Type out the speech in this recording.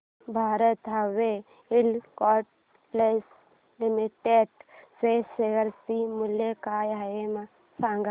Bharat heavy electricals limited च्या share चे मूल्य काय आहे सांगा